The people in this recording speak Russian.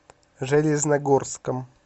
железногорском